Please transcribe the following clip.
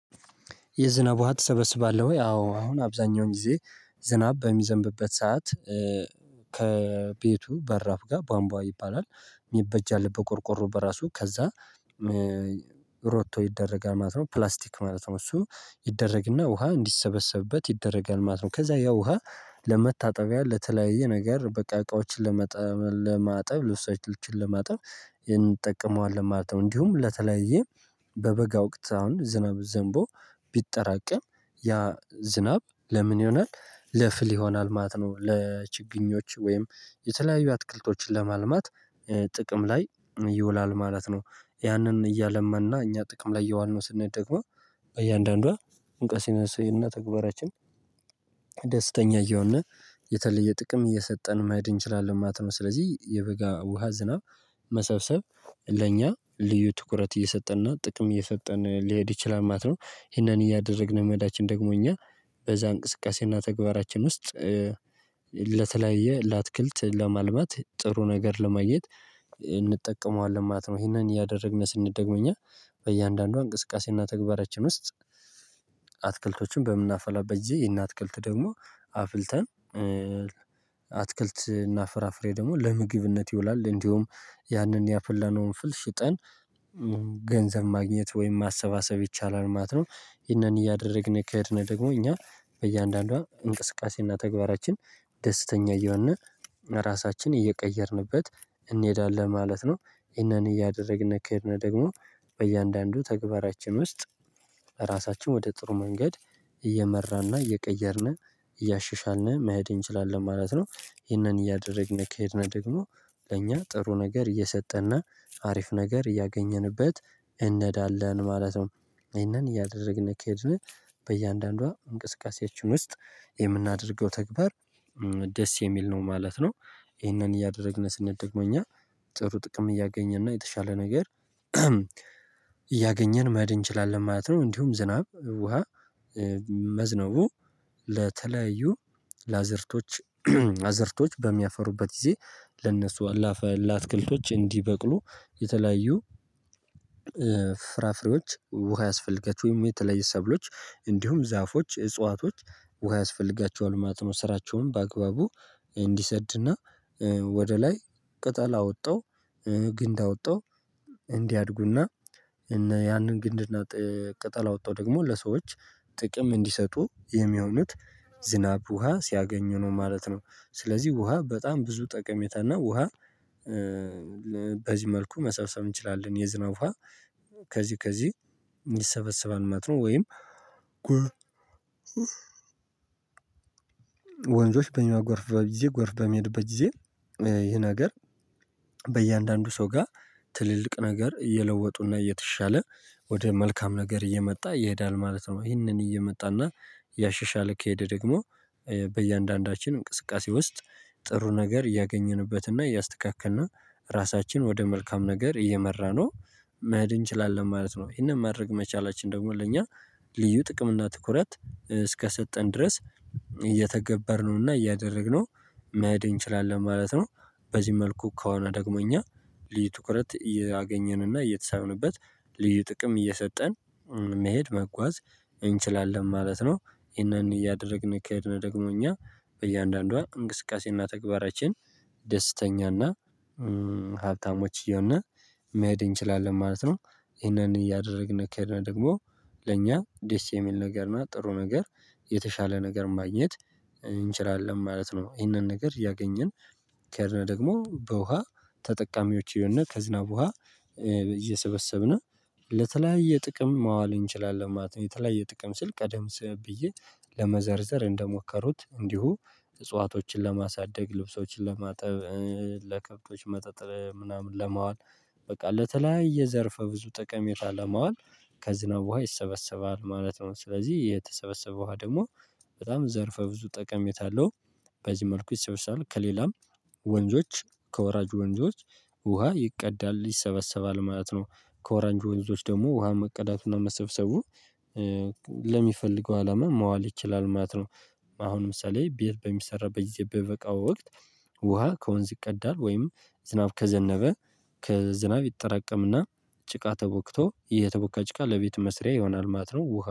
የዝናብ ውሃ ትሰበስባለህ ወይ? አዎ አሁን አብዛኛውን ጊዜ ዝናብ በሚዘንብበት ሰዓት ከቤቱ በራፍ ጋር ቧንቧ ይባላል የሚበጅ አለ በቆርቆሮ በራሱ ከዛ ሮቶ ይደረጋል ማለት ነው ፕላስቲክ ማለት ነው እሱ ይደረግና ውሃ እንዲሰበሰብበት ይደረጋል ማለት ነው ከዛ ያው ውሃ ለመታጠቢያ ለተለያየ ነገር በቃ እቃዎችን ለማጠብ ልብሳችን ለማጠብ ይሄን እንጠቀመዋለን ማለት ነው። እንዲሁም ለተለያየ በበጋ ወቅት አሁን ዝናብ ዘንቦ ቢጠራቀም ያ ዝናብ ለምን ይሆናል ለፍል ይሆናል ማለት ነው ለችግኞች ወይም የተለያዩ አትክልቶችን ለማልማት ጥቅም ላይ ይውላል ማለት ነው። ያንን እያለመንና እኛ ጥቅም ላይ የዋልነው ስንል ደግሞ በእያንዳንዷ እንቅስቃሴነስንና ተግባራችን ደስተኛ እየሆነ የተለየ ጥቅም እየሰጠን መሄድ እንችላለን ማለት ነው። ስለዚህ የበጋ ውሃ ዝናብ መሰብሰብ ለእኛ ልዩ ትኩረት እየሰጠንና ጥቅም እየሰጠን ሊሄድ ይችላል ማለት ነው። ይሄንን እያደረግን መዳችን ደግሞ እኛ በዛ እንቅስቃሴና ተግባራችን ውስጥ ለተለያየ ላትክልት ለማልማት ጥሩ ነገር ለማግት እንጠቀመዋለን ማለት ነው። ይሄንን እያደረግን ስንደግመኛ በእያንዳንዷ እንቅስቃሴና ተግባራችን ውስጥ አትክልቶችን በምናፈላበት ጊዜ ይሄንን አትክልት ደግሞ አፍልተን አትክልት እናፍራፍሬ ደግሞ ለምግብነት ይውላል። እንዲሁም ያንን ያፈለነውን ፍልሽጠን ገንዘብ ማግኘት ወይም ማሰባሰብ ይቻላል ማለት ነው። ይህንን እያደረግን ከሄድን ደግሞ እኛ በእያንዳንዷ እንቅስቃሴና ተግባራችን ደስተኛ እየሆን ራሳችን እየቀየርንበት እንሄዳለን ማለት ነው። ይሄንን እያደረግን ከሄድን ደግሞ በእያንዳንዱ ተግባራችን ውስጥ ራሳችን ወደ ጥሩ መንገድ እየመራን እና እየቀየርን እያሸሻልነ መሄድ እንችላለን ማለት ነው። ይህንን እያደረግን ከሄድን ደግሞ ለእኛ ጥሩ ነገር እየሰጠንና አሪፍ ነገር እያገኘንበት እንሄዳለን ማለት ነው። ይሄንን እያደረግን ከሄድን በእያንዳንዷ እንቅስቃሴያችን ውስጥ የምናደርገው ተግባር ደስ የሚል ነው ማለት ነው። ይሄንን እያደረግን ስንል ደግሞ እኛ ጥሩ ጥቅም እያገኘን ነው የተሻለ ነገር እያገኘን መሄን እንችላለን ማለት ነው እንዲሁም ዝናብ ውሃ መዝነቡ ለተለያዩ ላዘርቶች አዘርቶች በሚያፈሩበት ጊዜ ለእነሱ አላፈ ለአትክልቶች እንዲበቅሉ የተለያዩ ፍራፍሬዎች ውሃ ያስፈልጋቸው ወይም የተለያዩ ሰብሎች እንዲሁም ዛፎች እጽዋቶች ውሃ ያስፈልጋቸዋል። ስራቸውም በአግባቡ እንዲሰድና ወደ ላይ ቅጠል አወተው፤ ግንድ አወጣው እንዲያድጉና ያንን ግንድና ቅጠል አወው ደግሞ ለሰዎች ጥቅም እንዲሰጡ፤ የሚሆኑት ዝናብ ውሃ ሲያገኙ ነው ማለት ነው። ስለዚህ ውሃ በጣም ብዙ ጠቀሜታና ውሃ በዚህ መልኩ መሰብሰብ እንችላለን። የዝናው ውሃ ከዚህ ከዚህ ይሰበሰባል ማለት ነው። ወይም ወንዞች በእኛ ጎርፍ በጊዜ ጎርፍ በመሄድ በጊዜ ይሄ ነገር በእያንዳንዱ ሰው ጋር ትልልቅ ነገር የለወጡና እተሻለ ወደ መልካም ነገር እየመጣ ይሄዳል ማለት ነው። ይሄንን እየመጣና እያሻሻል ከሄደ ደግሞ በእያንዳንዳችን እንቅስቃሴ ውስጥ ጥሩ ነገር እያገኘንበትና እያስተካከልና ራሳችን ወደ መልካም ነገር እየመራነው መሄድ እንችላለን ማለት ነው። ይሄንን ማድረግ መቻላችን ደግሞ ለእኛ ልዩ ጥቅም እና ትኩረት እስከሰጠን ድረስ እየተገበርነውና እያደረግነው መሄድ እንችላለን ማለት ነው። በዚህ መልኩ ከሆነ ደግሞ እኛ ልዩ ትኩረት እያገኘንና እየተሳምንበት ልዩ ጥቅም እየሰጠን መሄድ መጓዝ እንችላለን ማለት ነው። ይሄንን እያደረግን ከሄድን ደግሞ እኛ በእያንዳንዷ እንቅስቃሴና ተግባራችን ደስተኛና ሀብታሞች፤ እየሆንና መሄድ እንችላለን ማለት ነው ይሄንን እያደረግን ከሄድን ደግሞ ለእኛ ደስሚል ነገር እና ጥሩ ነገር የተሻለ ነገር ማግኘት እንችላለን ማለት ነው። ይህንን ነገር ያገኘን ከሄድን ደግሞ በውሃ ተጠቃሚዎች ይሆንና ከዝናብ ውሃ እየሰበሰብን ለተለያየ ጥቅም ማዋል እንችላለን ማለት ነው። የተለያየ ጥቅም ስል ቀደም ስም ብዬ ለመዘርዘር እንደሞከሩት እንዲሁ እጽዋቶችን ለማሳደግ፤ ልብሶችን ለማጠብ፤ ለከብቶች መጠጥር ምናምን ለማዋል፤ በቃ ለተለያየ ዘርፈ ብዙ ጠቀሜታ ለማዋል ከዝናብ ውሃ ይሰበሰባል ማለት ነው። ስለዚህ የተሰበሰበው ውሃ ደግሞ በጣም ዘርፈ ብዙ ጠቀሜታ አለው። በዚህ መልኩ ይሰበሰባል ከሌላም ወንዞች ከወራጅ ወንጆች ውሃ ይቀዳል ይሰበሰባል ማለት ነው። ከወራጅ ወንዞች ደግሞ ውሃ መቀዳቱና መሰብሰቡ ለሚፈልገው አላማ መዋል ይችላል ማለት ነው። አሁን ምሳሌ ቤት በሚሰራበት ጊዜ በበጋ ወቅት ውሃ ከወንዝ ይቀዳል ወይም ዝናብ ከዘነበ ከዝናብ ይጠራቀምና ጭቃ ተቦክቶ የተቦካጭቃ ለቤት መስሪያ ይሆናል ማለት ነው።